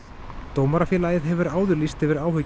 Dómarafélagið hefur áður lýst yfir áhyggjum